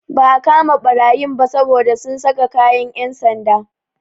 Ba a kama ɓarayin ba saboda sun saka kayan yan'sanda.